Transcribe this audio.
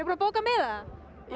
að bóka miða